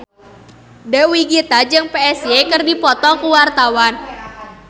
Dewi Gita jeung Psy keur dipoto ku wartawan